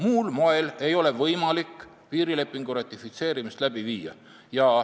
Muul moel ei ole võimalik piirilepingu ratifitseerimist läbi viia.